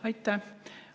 Aitäh!